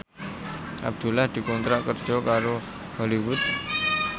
Abdullah dikontrak kerja karo Hollywood